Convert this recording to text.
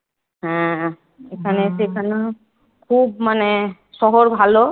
হ্যাঁ এখানে এসে এখানেও খুব মানে শহর ভালো।